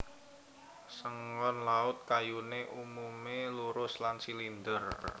Sengon Laut kayuné umumé lurus lan silinder